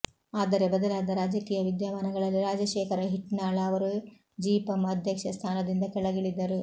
ಆದರೆ ಬದಲಾದ ರಾಜಕೀಯ ವಿದ್ಯಮಾನಗಳಲ್ಲಿ ರಾಜಶೇಖರ ಹಿಟ್ನಾಳ ಅವರು ಜಿಪಂ ಅಧ್ಯಕ್ಷ ಸ್ಥಾನದಿಂದ ಕೆಳಗಿಳಿದರು